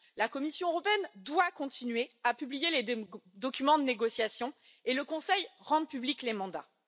La Commission européenne doit continuer à publier les documents de négociation et le Conseil rendre publics les mandats.